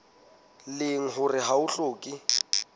leng hore ha ho hlokehe